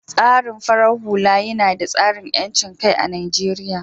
tsarin farar hula yina da tsarin yancinkai a Najeriya